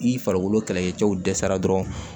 Ni farikolo kɛlɛkɛcɛw dɛsɛra dɔrɔn